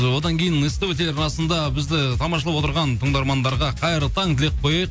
ы одан кейін ств телеарнасында бізді тамашалап отырған тыңдармандарға қайырлы таң деп қояйық